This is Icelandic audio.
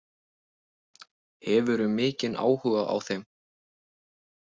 Hefurðu mikinn áhuga á þeim?